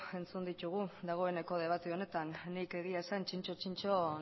entzun ditugu dagoeneko debate honetan nik egia esan zintzo zintzo